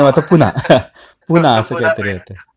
मग आता पुन्हा. पुन्हा असं काहीतरी असतं.